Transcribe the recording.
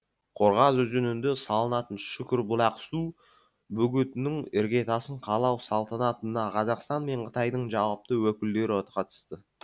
қорғас өзенінде салынатын шүкірбұлақ су бөгетінің іргетасын қалау салтанатына қазақстан мен қытайдың жауапты өкілдері қатысты